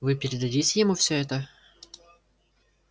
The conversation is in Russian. вы передадите ему все это